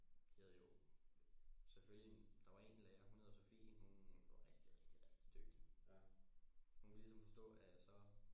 De havde jo selvfølgelig en der var en lærer hun hedder Sofie hun var rigtig rigtig rigtig dygtig hun kunne ligesom forstå at så